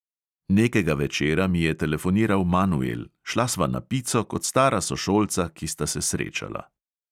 Nekega večera mi je telefoniral manuel, šla sva na pico, kot stara sošolca, ki sta se srečala.